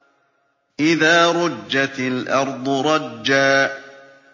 إِذَا رُجَّتِ الْأَرْضُ رَجًّا